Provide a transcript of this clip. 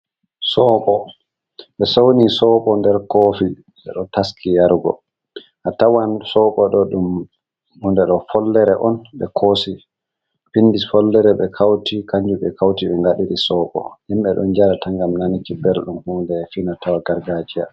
Sobo ɓe souni sobo nder kofi ɓe ɗo taski yarugo, a tawan sobo do ɗum hunde ɗo follere on ɓe koosi pindi follere be kauti, kanjum ɓe kauti ɓe ngaɗiri sobo, himɓɓe ɗun jarata ngam nanuki belɗum hunde finatawa gargajiya.